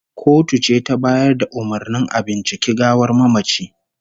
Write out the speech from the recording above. The autopsy was ordered by the court